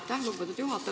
Aitäh, lugupeetud juhataja!